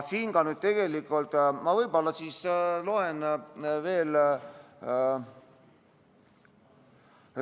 Ma võib-olla loen veel ette.